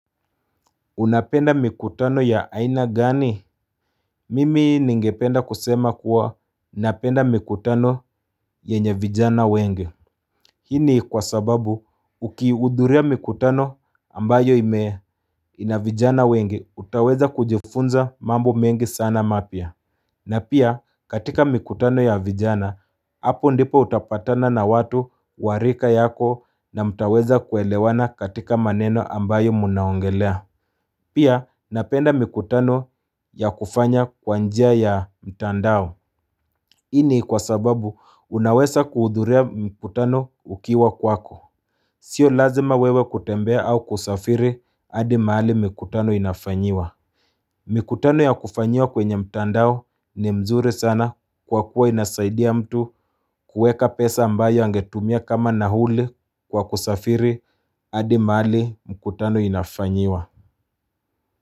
Unapenda mikutano ya aina gani? Mimi ningependa kusema kuwa napenda mikutano yenye vijana wengi. Hii ni kwa sababu ukihudhuria mikutano ambayo imee ina vijana wengi, utaweza kujifunza mambo mengi sana mapya. Na pia katika mikutano ya vijana, hapo ndipo utapatana na watu wa rika yako na mtaweza kuelewana katika maneno ambayo mnaongelea. Pia napenda mikutano ya kufanya kwa njia ya mtandao Hii ni kwa sababu unaweza kuhudhuria mikutano ukiwa kwako Sio lazima wewe kutembea au kusafiri hadi mahali mikutano inafanyiwa Mikutano ya kufanyiwa kwenye mtandao ni mzuri sana kwa kuwa inasaidia mtu kuweka pesa ambayo angetumia kama nauli kwa kusafiri hadi mahali mikutano inafanyiwa.